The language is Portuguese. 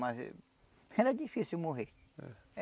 Mas era difícil morrer.